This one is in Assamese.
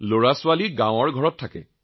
আমাৰ সন্তান গাঁৱত থাকে